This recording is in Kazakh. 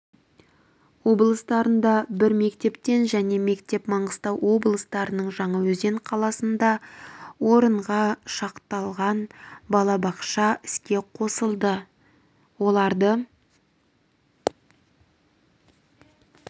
облыстарында бір мектептен және мектеп маңғыстау облысының жаңаөзен қаласында орынға шақталған балабақша іске қосылды оларды